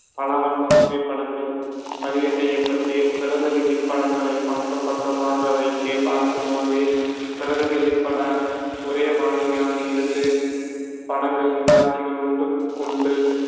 பல வண்ண புகைப்படங்கள் பதிவு செய்யப்பட்டு பிரதிநிதி படங்களைப் பக்கம் பக்கமாக வைத்துப் பார்க்கும்போது பிரதிநிதிப்பட ஒரே மாதிரியான இரண்டு படங்களின் காட்சிகள் ஒன்றுக்கு ஒன்று